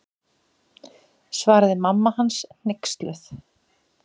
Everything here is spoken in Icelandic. Svaraði mamma hans hneyksluð.